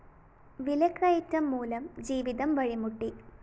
വിലക്കയറ്റം മൂലം ജീവിതം വഴിമുട്ടി